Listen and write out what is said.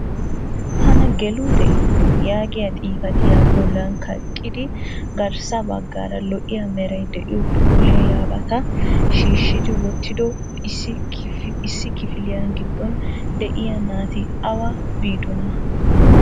"tana geluutee?" yaagiyaa xifatiyaa bolan kaqqidi garssa baggaara lo''iya meray de'iyo puulayyiyaabata shiishshidi wottido issi kifiliya giddon de'iyaa naati awa biidona?